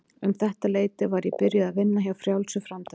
Um þetta leyti var ég byrjuð að vinna hjá Frjálsu framtaki.